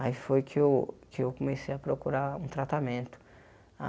Aí foi que eu que eu comecei a procurar um tratamento.